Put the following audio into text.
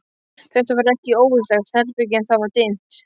Þetta var ekki óvistlegt herbergi en það var dimmt.